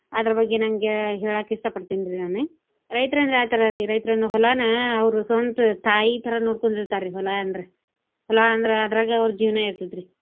ಅದರ ಬಗ್ಗೆ ನಂಗೆ ಹೇಳಾಕ ಇಷ್ಟಾ ಪಡ್ತೇನ್ರೀ ನಾನೆ. ರೈತ್ರ ಅಂದ್ರೆ ಯಾ ತರಾರಿ ರೈತರಂದ್ರೆ ಹೊಲನ ಅವ್ರು ಸ್ವಂತ ತಾಯಿ ತರಾ ನೋಡ್ಕೊಂಡಿರ್ತಾರಿ ಹೊಲ ಅಂದ್ರೆ. ಹೊಲ ಅಂದ್ರೆ ಅದ್ರಾಗ ಅವ್ರ ಜೀವನಾ ಇರ್ತೆತ್ರಿ.